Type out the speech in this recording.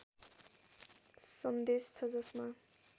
सन्देश छ जसमा